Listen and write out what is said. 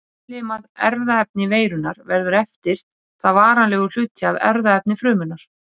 Innlimað erfðaefni veirunnar verður eftir það varanlegur hluti af erfðaefni frumunnar.